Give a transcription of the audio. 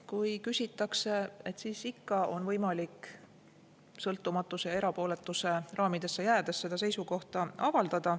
Kui küsitakse, siis ikka on võimalik sõltumatuse ja erapooletuse raamidesse jäädes seda seisukohta avaldada.